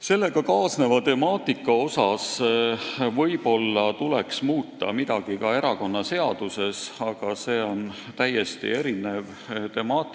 Sellega kaasneva temaatika puhul tuleks võib-olla muuta midagi ka erakonnaseaduses, aga see on täiesti teine teema.